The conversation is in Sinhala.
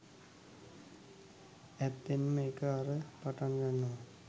ඇත්තෙන්ම ඒක අර පටන් ගන්නවා